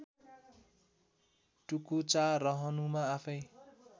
टुकुचा रहनुमा आफ्नै